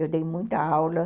Eu dei muita aula.